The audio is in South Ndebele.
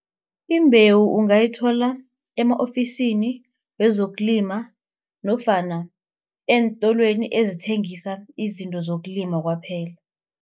Imbewu ungayithola ema-ofisini wezokulima nofana eentolweni ezithengisa izinto zokulima kwaphela.